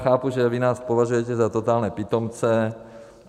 Chápu, že vy nás považujete za totální pitomce.